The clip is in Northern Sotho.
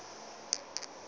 le be le se na